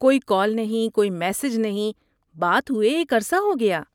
کوئی کال نہیں، کوئی میسیج نہیں، بات ہوئے ایک عرصہ ہو گیا۔